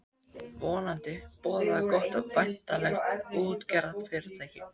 Vonandi boðaði það gott um væntanlegt útgerðarfyrirtæki.